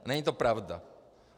Není to pravda.